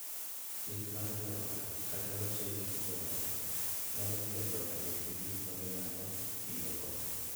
Thieth mar joot kata loso e kind joot nyalo miyo joot obed gi gik ma ginyalo tiyogo